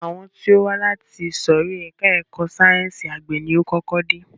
Àwọn tí ó wá láti ìsòrí ẹka ẹ̀kọ́ sáyẹnsì àgbẹ̀ ni o kọ́kọ́ dé.